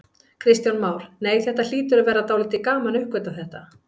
Kristján Már: Nei, þetta hlýtur að vera dálítið gaman að uppgötva þetta?